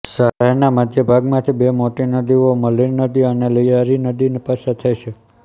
શહેરનાં મધ્યભાગ માથી બે મોટી નદીઓ મલીર નદી અને લિયા રી નદી પસાર થાય છે